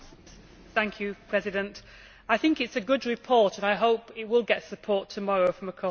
Mr President, I think it is a good report and I hope it will get support tomorrow from across the House.